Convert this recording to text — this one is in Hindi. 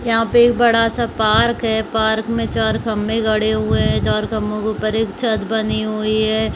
यहाँ पे एक बड़ा- सा पार्क है पार्क में चार खम्भे गड़े हुए है चार खम्भों के ऊपर एक छत बनी हुई है।